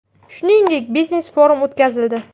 Shuningdek, biznes-forum o‘tkazildi.